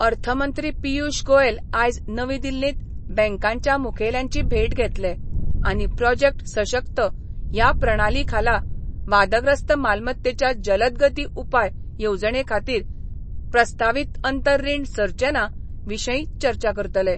अर्थमंत्री पियुश गोएल आयज नवी दिल्लींत बँकांच्या मुखेल्यांची भेट घेतले आनी प्रोजेक्ट सशक्त ह्या प्रणाली खाला वादग्रस्त मालमत्तेच्या जलदगती उपाय येवजणे खातीर प्रस्तावीत अंतर रीण सरचने विशीं चर्चा करतले.